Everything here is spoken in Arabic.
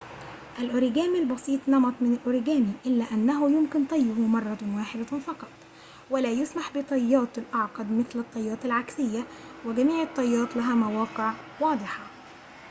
الأوريجامي البسيط نمط من الأوريجامي إلا إنه يمكن طيه مرة واحدة فقط ولا يُسمح بالطيات الأعقد مثل الطيات العكسية وجميع الطيات لها مواقع واضحة